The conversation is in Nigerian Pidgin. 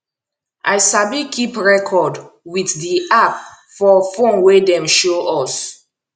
i sabi keep record wit di app for phone wey dem show us